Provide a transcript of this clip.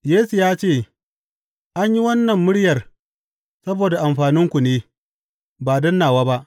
Yesu ya ce, An yi wannan muryar saboda amfaninku ne, ba don nawa ba.